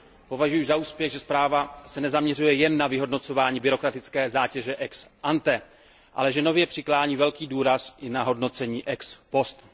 Považuji za úspěch, že zpráva se nezaměřuje jen na vyhodnocování byrokratické zátěže ex ante, ale že nově klade velký důraz i na hodnocení ex post.